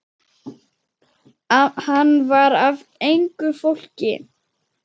Hann var af engu fólki.